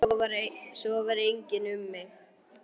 Svo var einnig um mig.